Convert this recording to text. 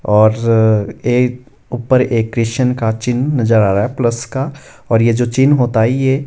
और एक ऊपर एक क्रिश्चियन का चिन्ह नजर आ रहा है प्लस का और ये जो चिन्ह होता है ये--